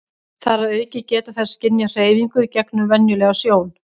þar að auki geta þær skynjað hreyfingar gegnum venjulega sjón